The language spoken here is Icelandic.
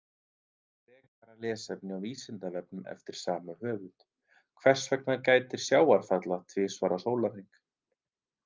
Frekara lesefni á Vísindavefnum eftir sama höfund: Hvers vegna gætir sjávarfalla tvisvar á sólarhring?